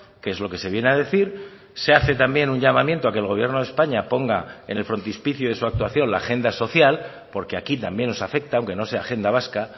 que es lo que se viene a decir se hace también un llamamiento a que el gobierno de españa ponga en el frontispicio de su actuación la agenda social porque aquí también nos afecta aunque no sea agenda vasca